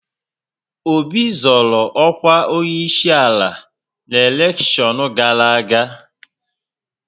Obi zọọrọ ọkwa onyeisiala na elekshọn gara aga.